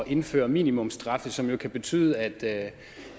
indføre minimumsstraffe som jo kan betyde at